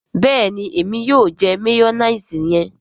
béèni Èmi yóò jẹ mayonnaise yẹn.